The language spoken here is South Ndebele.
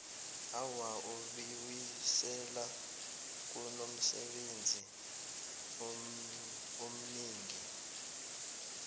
awa ubiwisela kunomsebenzi omningi